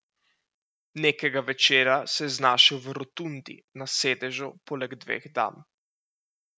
Nekega večera se je znašel v Rotundi na sedežu poleg dveh dam.